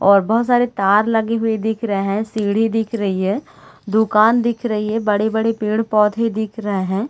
और बोहोत सारे तार लगे हुए दिख रहे है सीढ़ी दिख रही है दुकान दिख रही है बड़े-बड़े पेड़-पौधे दिख रहे है।